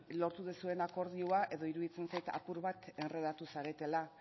lortu duzuen akordioa edo iruditzen zait apur bat endredatu zaretela